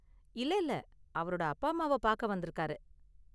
இல்ல இல்ல, அவரோட அப்பா அம்மாவ பாக்க வந்திருக்காரு.